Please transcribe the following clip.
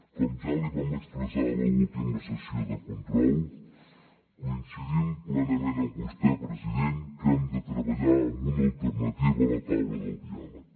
com ja li vam expressar a l’última sessió de control coincidim plenament amb vostè president que hem de treballar en una alternativa a la taula del diàleg